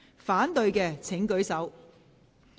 反對的請舉手。